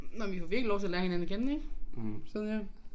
Nåh vi får virkelig lov til at lære hinanden at kende ik sidder her